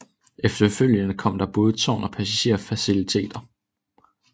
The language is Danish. Efterfølgende kom der både tårn og passagerer faciliteter